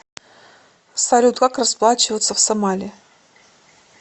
салют как расплачиваться в сомали